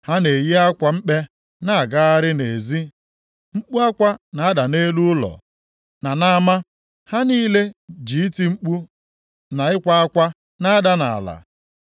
Ha na-eyi akwa mkpe na-agagharị nʼezi, mkpu akwa na-ada nʼelu ụlọ, na nʼama. Ha niile ji iti mkpu na ịkwa akwa na-ada nʼala.